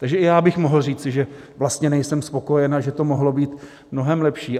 Takže i já bych mohl říci, že vlastně nejsem spokojen a že to mohlo být mnohem lepší.